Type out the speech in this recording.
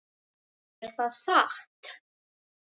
Er það satt?